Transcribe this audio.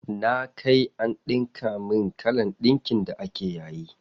Na kai an ɗinka min kalan ɗinkin da ake yayi.